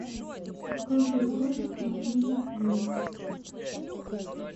покажи хроника одной любви